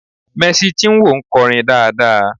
"Mercy Chinwo" nkorin dáadáa